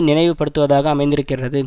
நினைவு படுத்துவதாக அமைந்திருக்கின்றது